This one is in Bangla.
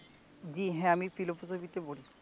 জি হ্যা আমি ফিলোসফিতে পড়ি